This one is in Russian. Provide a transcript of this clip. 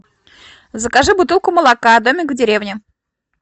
закажи бутылку молока домик в деревне